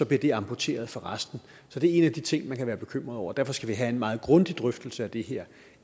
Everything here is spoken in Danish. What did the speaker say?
bliver det amputeret fra resten så det er en af de ting man kan være bekymret over derfor skal vi have en meget grundig drøftelse af det her